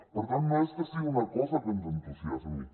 per tant no és que sigui una cosa que ens entusiasmi